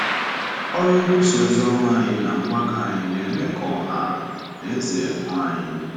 Ọrụ nkwusa ozioma anyị na mgbakọ anyị na-eme ka ọha na eze hụ anyị.